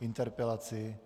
interpelaci.